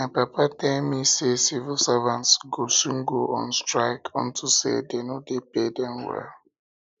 my papa tell me say civil servants go soon go on strike unto say dey no dey pay dem well